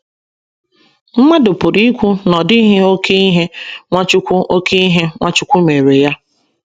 Mmadụ pụrụ ikwu na ọ dịghị oké ihe Nwachukwu oké ihe Nwachukwu meere ya.